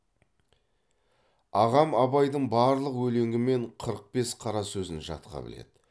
ағам абайдың барлық өлеңі мен қырық бес қара сөзін жатқа біледі